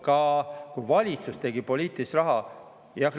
Ka valitsus poliitilist raha.